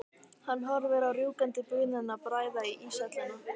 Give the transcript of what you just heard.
Hann horfir á rjúkandi bununa bræða íshelluna.